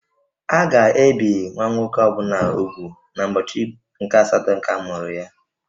A ga ebì nwa nwoke ọ bụla úgwù n'ubọchi nke-asatọ nke amuru ya